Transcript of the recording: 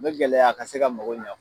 Me gɛlɛya a ka se ka mɔgɔ ɲɛ o